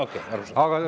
Okei, arusaadav.